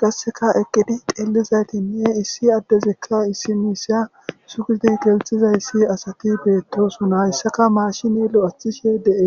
gasseka eqqidi dellizaytinne issi addezikka issi miisa sugidi gelxizay issi asati beettosuna hyssaka maashini lo7athishe dee